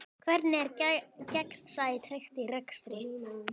Hvernig er gegnsæi tryggt í rekstri?